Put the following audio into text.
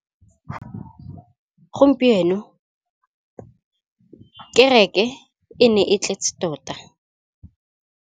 Gompieno kêrêkê e ne e tletse tota.